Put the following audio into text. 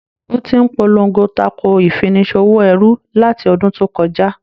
Ò ti ń polongo tako ìfini ṣòwò ẹrú láti ọdún tó kọjá.